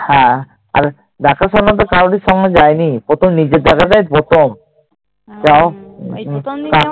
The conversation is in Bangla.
হ্যাঁ। আর দেখাশোনা তো কারওর সঙ্গে যাইনি। প্রথম নিজের দেখাটাই প্রথম